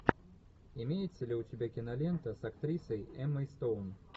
имеется ли у тебя кинолента с актрисой эммой стоун